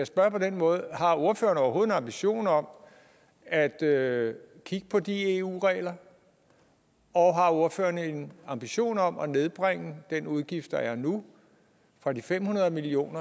spørge på denne måde har ordføreren overhovedet en ambition om at at kigge på de eu regler og har ordføreren en ambition om at nedbringe den udgift der er nu fra de fem hundrede million